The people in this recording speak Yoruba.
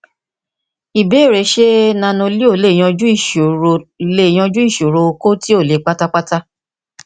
ìbéèrè ṣé nanoleo lè yanjú ìsòro lè yanjú ìsòro okó tí ò le pátápátá